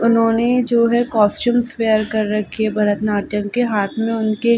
उन्होंने जो है कास्टूम वेयर कर रखे है भरतनाट्यम के हाथ में उनके --